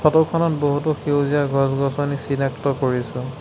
Photo খনত বহুতো সেউজীয়া গছ-গছনি চিনাক্ত কৰিছোঁ।